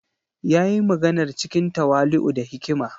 Ya yi maganar cikin tawali’u da hikima.